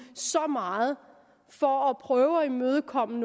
så meget for at prøve at imødekomme